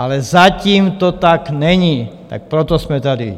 Ale zatím to tak není, tak proto jsme tady.